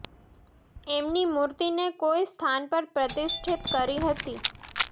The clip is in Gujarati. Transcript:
એમની મુર્તિ ને કોઈ સ્થાન પર પ્રતિષ્ઠિત કરી હતી